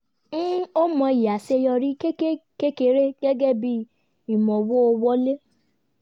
ń ó mọyì aṣeyọrí kékeré gẹ́gẹ́ bí ìmọ̀wó wọlé